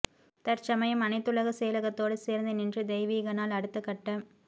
தற்சமயம் அனைத்துலக செயலகத்தோடு சேர்ந்து நின்று தெய்வீகனால் அடுத்த கட்ட